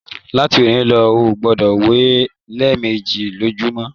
Láti òní lọ, o gbọdọ wẹ lẹẹmeji lojumọ!